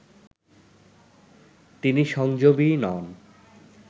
তিনি সংযমী নন